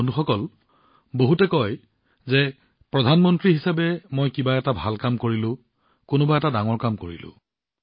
বন্ধুসকল বহুতে কয় যে প্ৰধানমন্ত্ৰী হিচাপে মই এই ভাল কামটো কৰিলোঁ সেই ডাঙৰ কামটো কৰিলোঁ